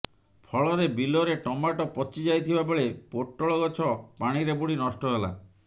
ଫଳରେ ବିଲରେ ଟମାଟୋ ପଚି ଯାଇଥିବା ବେଳେ ପୋଟଳ ଗଛ ପାଣିରେ ବୁଡି ନଷ୍ଟ ହେଲା